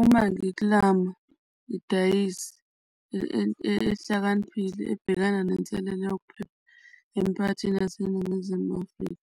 Uma ngiklama idayisi ehlakaniphile ebhekana nenselelo yokuphepha emiphakathini yaseNingizimu Afrika,